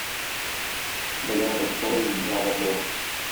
добавь попкорн два в одном